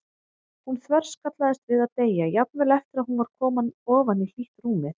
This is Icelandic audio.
Hún þverskallaðist við að deyja, jafnvel eftir að hún var komin ofan í hlýtt rúmið.